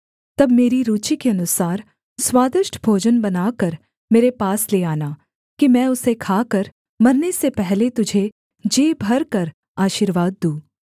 तब मेरी रूचि के अनुसार स्वादिष्ट भोजन बनाकर मेरे पास ले आना कि मैं उसे खाकर मरने से पहले तुझे जी भरकर आशीर्वाद दूँ